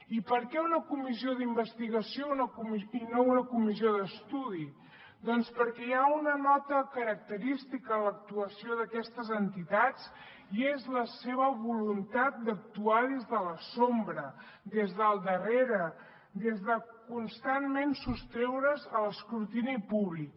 i per què una comissió d’investigació i no una comissió d’estudi doncs perquè hi ha una nota característica en l’actuació d’aquestes entitats i és la seva voluntat d’actuar des de l’ombra des del darrere des de constantment sostreure’s a l’escrutini públic